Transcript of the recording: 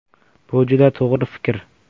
Bu juda to‘g‘ri fikr.